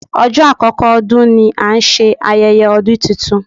Ọjọ́ àkọ́kọ́ ọdún ni a ń ṣe ayẹyẹ ọdún titun.